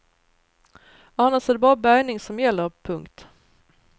Annars är det bara bärgning som gäller. punkt